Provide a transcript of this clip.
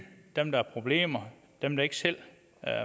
dem der har problemer dem der ikke selv